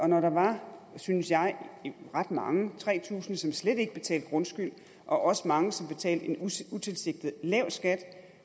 når der var synes jeg ret mange tre tusind som slet ikke betalte grundskyld og også mange som betalte en utilsigtet lav skat